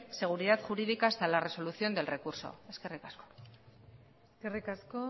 seguridad jurídica hasta la resolución del recurso eskerrik asko eskerrik asko